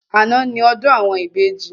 Àná ni ọdún àwọn ìbejì